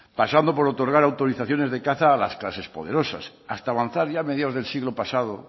pasando por otorgar autorizaciones de caza a las clases poderosas hasta avanzar ya a mediados del siglo pasado